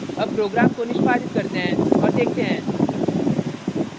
अब program को निष्पादित करते हैं और देखते हैं